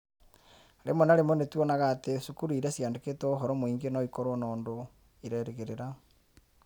Rĩmwe na rĩmwe nĩ tuonaga atĩ cukuru iria ciĩandĩkĩtwo ũhoro mũingĩ no ikorũo na ũndũ irerĩgĩrĩra.